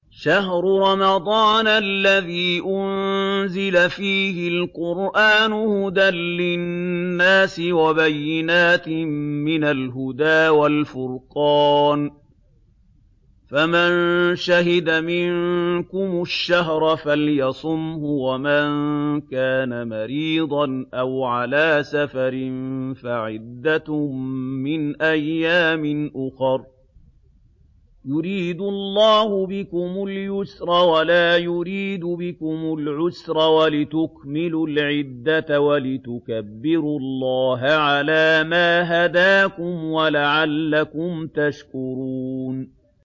شَهْرُ رَمَضَانَ الَّذِي أُنزِلَ فِيهِ الْقُرْآنُ هُدًى لِّلنَّاسِ وَبَيِّنَاتٍ مِّنَ الْهُدَىٰ وَالْفُرْقَانِ ۚ فَمَن شَهِدَ مِنكُمُ الشَّهْرَ فَلْيَصُمْهُ ۖ وَمَن كَانَ مَرِيضًا أَوْ عَلَىٰ سَفَرٍ فَعِدَّةٌ مِّنْ أَيَّامٍ أُخَرَ ۗ يُرِيدُ اللَّهُ بِكُمُ الْيُسْرَ وَلَا يُرِيدُ بِكُمُ الْعُسْرَ وَلِتُكْمِلُوا الْعِدَّةَ وَلِتُكَبِّرُوا اللَّهَ عَلَىٰ مَا هَدَاكُمْ وَلَعَلَّكُمْ تَشْكُرُونَ